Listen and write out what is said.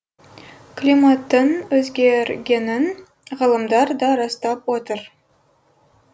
климаттың өзгергенін ғалымдар да растап отыр